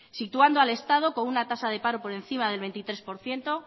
situando al estado con una tasa de paro por encima del veintitrés por ciento